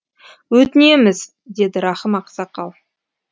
өтінеміз деді рахым ақсақал